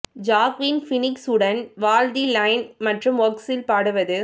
Joaquin Phoenix உடன் Walk the Line மற்றும் works இல் பாடுவது